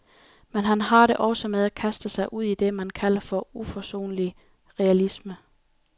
Men han har det også med at kaste sig ud i det, man kalder for uforsonlig realisme.